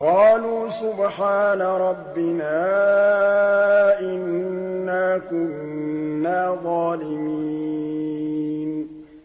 قَالُوا سُبْحَانَ رَبِّنَا إِنَّا كُنَّا ظَالِمِينَ